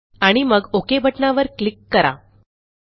आणि मग ओक बटणावर क्लिक करा